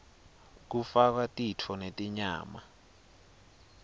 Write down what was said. kufakwa titfo netinyama